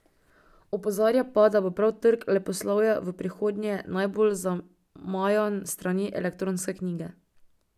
Opozarja pa, da bo prav trg leposlovja v prihodnje najbolj zamajan s strani elektronske knjige.